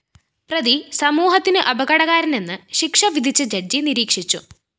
പ്രതി സമൂഹത്തിന് അപകടകാരനെന്ന് ശിക്ഷ വിധിച്ച ജഡ്ജ്‌ നിരീക്ഷിച്ചു